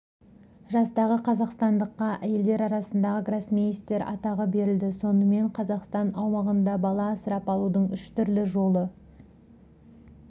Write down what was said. жастағы қазақстандыққа әйелдер арасындағы гроссмейстер атағы берілді сонымен қазақстан аумағында бала асырап алудың үш түрлі жолы